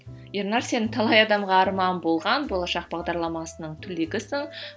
ернар сен талай адамға арман болған болашақ бағдарламасының түлегісің